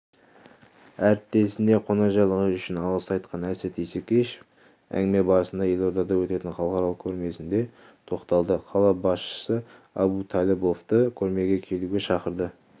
әріптесіне қонақжайлығы үшін алғыс айтқан әсет исекешев әңгіме барысында елордада өтетін халықаралық көрмесіне де тоқталды қала басшысы абуталыбовты көрмеге келуге шақырды